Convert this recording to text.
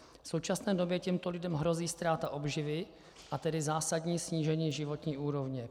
V současné době těmto lidem hrozí ztráta obživy, a tedy zásadní snížení životní úrovně.